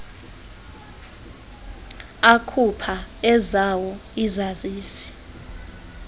akhupha ezawo izazisi